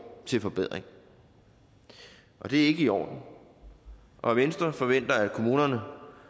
til forbedring det er ikke i orden og venstre forventer at kommunerne